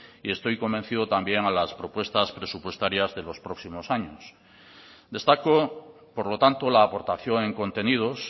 y estoy convencido también a las propuestas presupuestarias de los próximos años destaco por lo tanto la aportación en contenidos